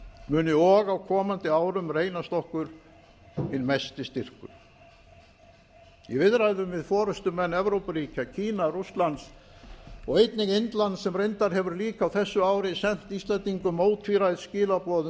muni og á komandi árum reynast okkur hinn mesti styrkur í viðræðum við forustumenn evrópuríkja kína rússlands og einnig indlands sem reyndar hefur líka á þessu ári sent íslendingum ótvíræð skilaboð um